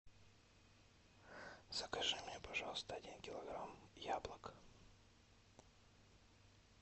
закажи мне пожалуйста один килограмм яблок